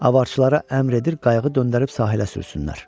Avarçılara əmr edir qayığı döndərib sahilə sürsünlər.